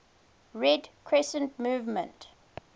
red crescent movement